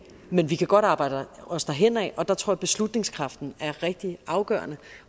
men vi kan godt arbejde os derhenad og der tror jeg at beslutningskraften er rigtig afgørende